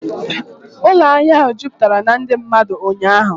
Ụlọ ahịa ahụ jupụtara na ndị mmadụ ụnyaahụ